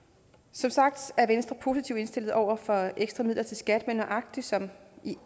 som sagt er venstre positivt indstillet over for ekstra midler til skat men nøjagtig som